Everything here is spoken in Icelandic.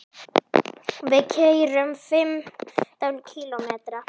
Við keyrum fimmtán kílómetra.